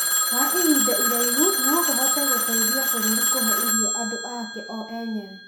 wa ihinda iraihu no kũhote gũteithia bũrũri kũhe irio andũ ake o enyewe.